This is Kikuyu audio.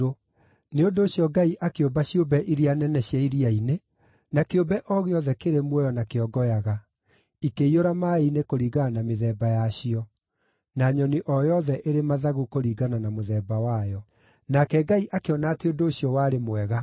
Nĩ ũndũ ũcio Ngai akĩũmba ciũmbe iria nene cia iria-inĩ na kĩũmbe o gĩothe kĩrĩ muoyo na kĩongoyaga, ikĩiyũra maaĩ-inĩ kũringana na mĩthemba yacio, na nyoni o yothe ĩrĩ mathagu kũringana na mũthemba wayo. Nake Ngai akĩona atĩ ũndũ ũcio warĩ mwega.